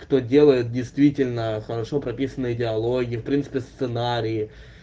кто делает действительно хорошо прописанные диалоги в принципе сценарии